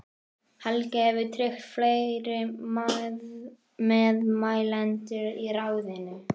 Helgi hefur tryggt fleiri meðmælendur í ráðinu.